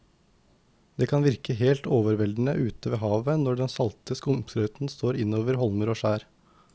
Det kan virke helt overveldende ute ved havet når den salte skumsprøyten slår innover holmer og skjær.